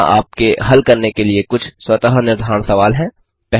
यहाँ आपके हल करने के लिए कुछ स्वतः निर्धारण सवाल हैं